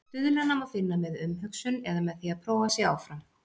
Stuðlana má finna með umhugsun eða með því að prófa sig áfram.